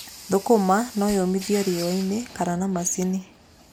Thũkũma no yũmithio riũa-inĩ kana na macini.